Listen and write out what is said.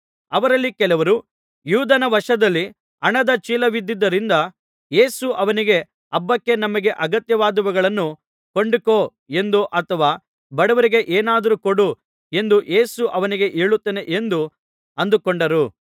ಅವರಲ್ಲಿ ಕೆಲವರು ಯೂದನ ವಶದಲ್ಲಿ ಹಣದ ಚೀಲವಿದ್ದುದರಿಂದ ಯೇಸು ಅವನಿಗೆ ಹಬ್ಬಕ್ಕೆ ನಮಗೆ ಅಗತ್ಯವಾದವುಗಳನ್ನು ಕೊಂಡುಕೋ ಎಂದೋ ಅಥವಾ ಬಡವರಿಗೆ ಏನಾದರೂ ಕೊಡು ಎಂದೋ ಯೇಸು ಅವನಿಗೆ ಹೇಳುತ್ತಾನೆ ಎಂದು ಅಂದುಕೊಂಡರು